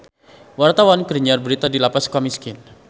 Wartawan keur nyiar berita di Lapas Sukamiskin